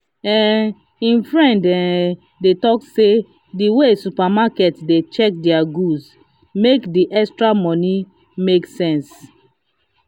um him friend um dey talk say the way supermarket dey check their goods make the extra money make sense. um